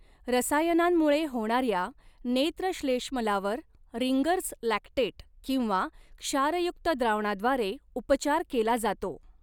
रसायनांमुळे होणाऱ्या नेत्रश्लेष्मलावर रिंगर्स लॅक्टेट किंवा क्षारयुक्त द्रावणाद्वारे उपचार केला जातो.